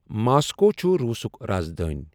Moscow چھُ روٗسک راز دٲنۍ۔